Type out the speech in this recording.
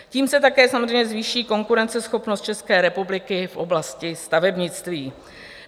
Tím se také samozřejmě zvýší konkurenceschopnost České republiky v oblasti stavebnictví.